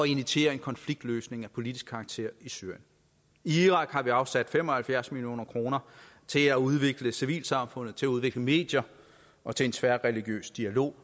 initieres en konfliktløsning af politisk karakter i syrien i irak har vi afsat fem og halvfjerds million kroner til at udvikle civilsamfundet til at udvikle medier og til en tværreligiøs dialog